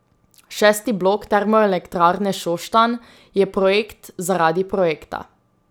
Šesti blok Termoelektrarne Šoštanj je projekt zaradi projekta.